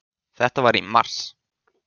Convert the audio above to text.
Þetta var í mars.